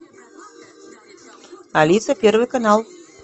алиса первый канал